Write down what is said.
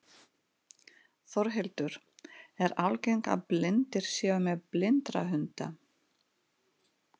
Þórhildur, er algengt að blindir séu með blindrahunda?